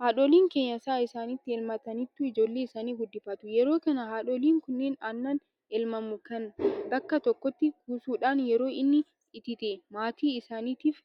Haadholiin keenya sa'a isaanii elmataniitu ijoollee isaanii guddifatu. Yeroo kana haadholiin kunneen aannaan elmamu kana bakka tokkotti kuusuudhaan yeroo inni itite maatii isaaniitiif